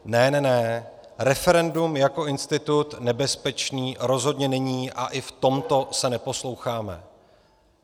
Ne, ne, ne, referendum jako institut nebezpečný rozhodně není a i v tomto se neposloucháme.